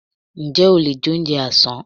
Ǹjẹ́ o lè jẹ oúnjẹ àsán?